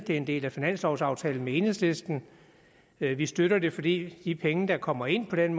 er en del af finanslovaftalen med enhedslisten vi vi støtter det fordi de penge der kommer ind på den